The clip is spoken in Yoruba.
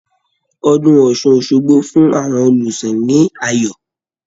Ọdún Ọ̀ṣun Òṣogbo ń fún àwọn Olùsìn ní ayọ̀